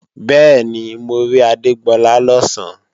Bẹ́ẹ̀ni, mo rí Adégbọlá lọ̀sán